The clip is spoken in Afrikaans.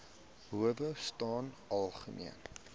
howe staan algemeen